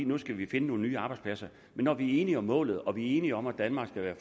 nu skal vi finde nogle nye arbejdspladser men når vi er enige om målet og når vi er enige om at danmark skal være